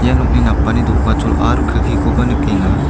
ia nokni napani do·gachol aro kelkikoba nikenga.